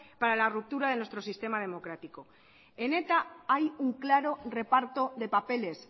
para la ruptura de nuestro sistema democrático en eta hay un claro reparto de papeles